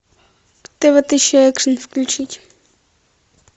тв тысяча экшн включить